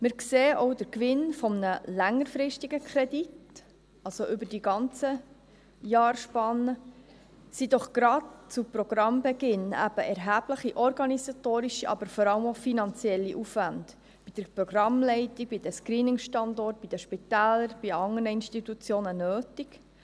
Wir sehen auch den Gewinn eines längerfristigen Kredits, also über die ganzen Jahre, sind doch gerade zu Programmbeginn erhebliche organisatorische, aber vor allem auch finanzielle Aufwände bei der Programmleitung, bei den Screening-Standorten, bei den Spitälern, bei anderen Institutionen nötig.